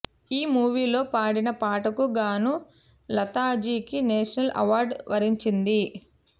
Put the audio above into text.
ఈ మూవీలో పాడిన పాటకు గానూ లతాజీకి నేషనల్ అవార్డు వరించింది